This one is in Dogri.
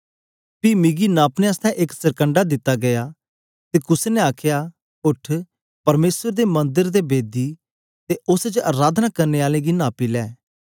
पी मिकी नापने आसतै एक सरकंडा दित्ता गीया ते कुसे ने आखया उठ परमेसर दे मंदर ते बेदी ते उस्स च अराधना करने आलें गी नापी ले